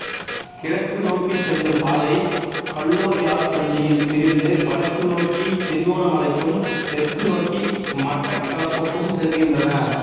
கிழக்கு நோக்கிச் செல்லும் பாதை கல்லோயாச்சந்தியில் பிரிந்து வடக்கு நோக்கித் திருகோணமலைக்கும் தெற்கு நோக்கி மட்டக்களப்புக்கும் செல்கின்றன